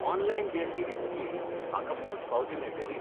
Online देणगी दितकीर म्हाका पोंचपावती मेळटली?